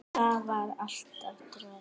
Það var alltaf troðið.